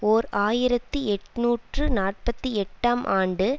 ஓர் ஆயிரத்தி எட்ணூற்று நாற்பத்தி எட்டாம் ஆண்டு